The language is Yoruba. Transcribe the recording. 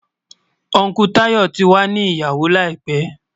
Ùncle Tayọ̀ tí wà ní ìyàwó láìpẹ̀.